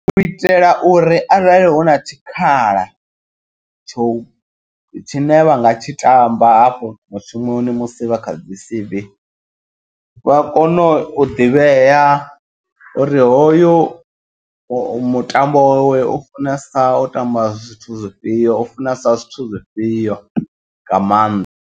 U itela uri arali huna tshikhala tsho tshine vhanga tshi tamba hafho mushumoni musi vha kha dzi C_V. Vha kone u ḓivhea uri hoyo mutambo we ufunesa u ṱamba zwithu zwifhio u funesa zwithu zwifhio nga maanḓa.